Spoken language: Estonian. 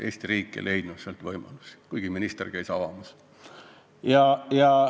Eesti riik ei leidnud võimalust seda rahastada, kuigi minister käis palatit avamas.